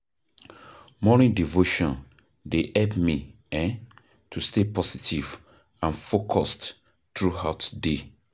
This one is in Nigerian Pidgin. Morning devotion dey help me um to stay positive and focused throughout day.